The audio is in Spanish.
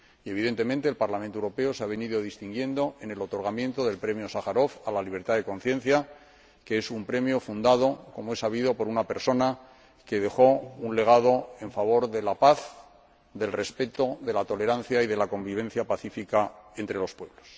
Evidentemente, el Parlamento Europeo se ha venido distinguiendo en el otorgamiento del Premio Sájarov a la libertad de conciencia, que es un premio fundado, como es sabido, por una persona que dejó un legado en favor de la paz, del respeto, de la tolerancia y de la convivencia pacífica entre los pueblos.